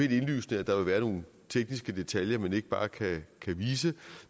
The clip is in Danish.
helt indlysende at der vil være nogle tekniske detaljer man ikke bare kan vise